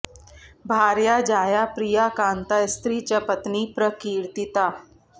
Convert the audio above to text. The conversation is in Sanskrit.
भार्या जाया प्रिया कान्ता स्त्री च पत्नी प्रकीर्तिता